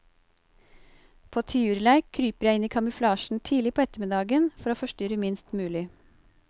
På tiurleik kryper jeg inn i kamuflasjen tidlig på ettermiddagen for å forstyrre minst mulig.